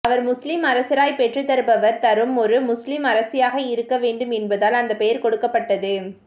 அவர் முஸ்லிம் அரசராய் பெற்று தருபவர் தரும் ஒரு முஸ்லிம் அரசியாக இருக்கவேண்டு என்பதால் அந்த பெயர் கொடுக்கப்பட்டது